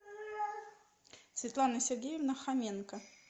светлана сергеевна хоменко